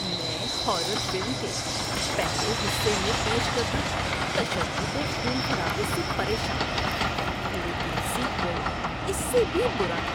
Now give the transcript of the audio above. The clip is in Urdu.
میں ہارر فلم کے پہلے حصے میں پیش کردہ تشدد اور خون خرابے سے پریشان تھا لیکن سیکوئل اس سے بھی برا تھا۔